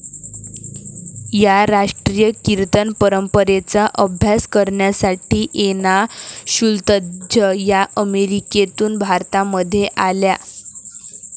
या राष्ट्रीय कीर्तन परंपरेचा अभ्यास करण्यासाठी एना शुल्त्झ या अमेरिकेतून भारतामध्ये आल्या.